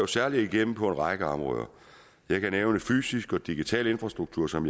særlig igennem på en række områder jeg kan nævne fysisk og digital infrastruktur som